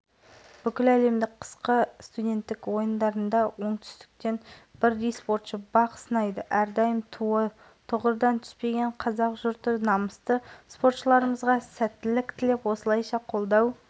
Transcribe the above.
жалпы қазақ спортшыларының тілеуін тілеп отырған жұрттың қарасы қалың барлығының тілегі бір ол дүбірлі додаға